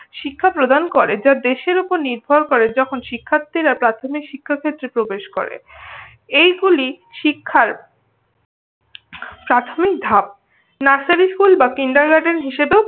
শিক্ষা প্রদান করে যা দেশের উপর নির্ভর করে। যখন শিক্ষার্থীরা প্রাথমিক শিক্ষা ক্ষেত্রে প্রবেশ করে। এইগুলি শিক্ষার প্রাথমিক ধাপ। নার্সারির স্কুল বা কিন্ডারগার্ডেন হিসাবেও